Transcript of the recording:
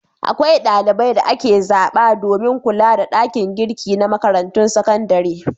Akwai ɗalibai da ake zaɓa domin kula da ɗakin girki na makarantun sakandare.